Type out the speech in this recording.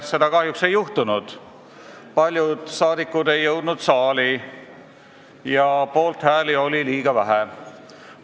Seda kahjuks ei juhtunud, paljud saadikud ei jõudnud saali ja poolthääli oli liiga vähe.